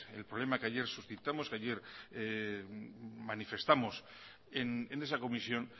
es el problema que ayer suscitamos que ayer manifestamos en esa comisión